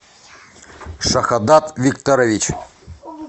шахадат викторович